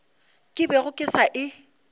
ke bego ke sa e